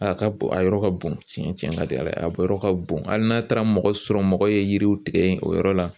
A ka a yɔrɔ ka bon tiɲɛ ka di Ala ye a yɔrɔ ka bon hali n'a taara mɔgɔ sɔrɔ mɔgɔ ye yiriw tigɛ o yɔrɔ la